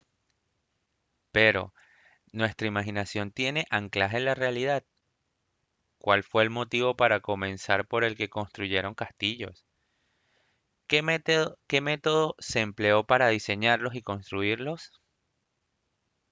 pero ¿nuestra imaginación tiene anclaje en la realidad? ¿cuál fue el motivo para comenzar por el que se construyeron castillos? ¿qué método se empleó para diseñarlos y construirlos?